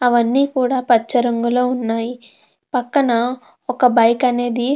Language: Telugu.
అవన్నీ కూడా పచ్చ రంగు లో ఉన్నాయి పక్కన ఒక బైక్ అనేది --